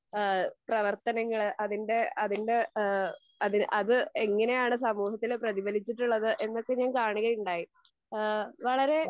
ഏഹ് പ്രവർത്തനങ്ങൾ അതിൻ്റെ അതിൻ്റെ ഏഹ് അത് അത് എങ്ങിനെയാണ് സമൂഹത്തിനെ പ്രതിഫലിച്ചിട്ടുള്ളത് എന്നൊക്കെ ഞാൻ കാണുകയുണ്ടായി. ഈഹ്‌ വളരേ